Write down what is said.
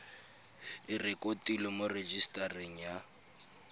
e rekotiwe mo rejisetareng ya